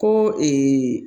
Ko